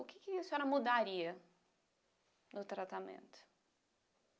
O que quea senhora mudaria no tratamento?